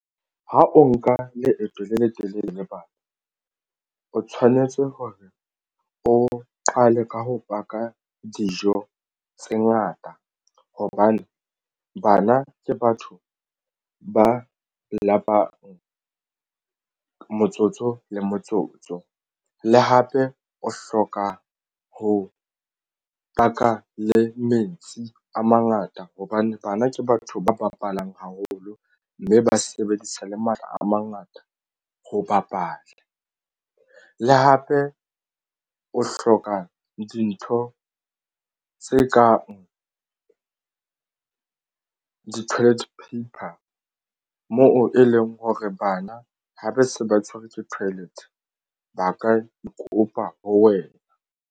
Ha o nka leeto le letelele le bana o tshwanetse hore o qale ka ho paka dijo tse ngata hobane bana ke batho ba lapang motsotso le motsotso le hape o hloka ho paka le metsi a mangata hobane bana ke batho ba bapalang haholo mme ba sebedisa le matla a mangata ho bapala le hape o hloka dintho tse kang di-toilet paper moo e leng hore bana ha ba se ba tshwerwe ke toilet ba ka e ke kopa ho wena.